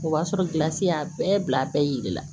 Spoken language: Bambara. O b'a sɔrɔ gilansi y'a bɛɛ bila a bɛɛ yiri la